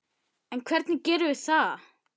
Ég hætti.